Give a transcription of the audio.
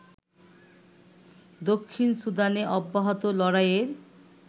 দক্ষিণ সুদানে অব্যাহত লড়াইয়ে